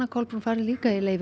Kolbrún farið líka í leyfi